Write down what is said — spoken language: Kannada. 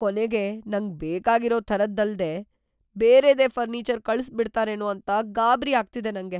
ಕೊನೆಗೆ ನಂಗ್‌ ಬೇಕಾಗಿರೋ ಥರದ್ದಲ್ದೇ ಬೇರೆದೇ ಫರ್ನೀಚರ್‌ ಕಳ್ಸ್‌ಬಿಡ್ತಾರೇನೋ ಅಂತ ಗಾಬ್ರಿ ಆಗ್ತಿದೆ ನಂಗೆ.